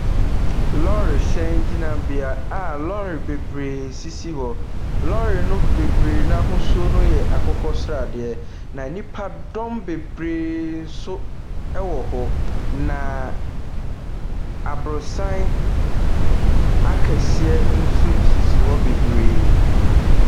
Lorry hyɛn gyinabea a lorry bebree sisi hɔ. Lorrry no bebree no ahosoɔ yɛ akokɔ sradeɛ. Na nnipadɔm bebree nso wɔ hɔ. Na aborosan akɛseɛ nso sisi hɔ bebree.